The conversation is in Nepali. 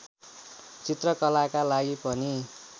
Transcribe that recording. चित्रकलाका लागि पनि